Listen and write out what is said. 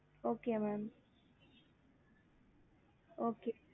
okey mam okey